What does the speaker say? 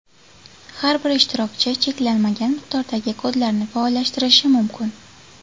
Har bir ishtirokchi cheklanmagan miqdordagi kodlarni faollashtirishi mumkin.